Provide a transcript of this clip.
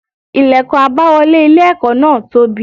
Ilẹ̀kùn àbáwọlé ilé ẹ̀kọ́ náà tóbi.